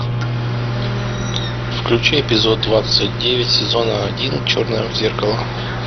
включи эпизод двадцать девять сезона один черное зеркало